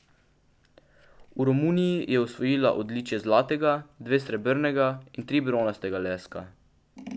V Romuniji je osvojila odličje zlatega, dve srebrnega in tri bronastega leska.